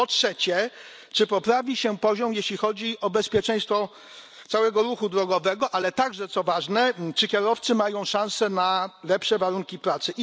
Po trzecie czy poprawi się poziom, jeśli chodzi o bezpieczeństwo całego ruchu drogowego, ale także, co ważne, czy kierowcy mają szansę na lepsze warunki pracy?